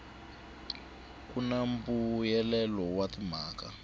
ku na mbuyelelo wa timhaka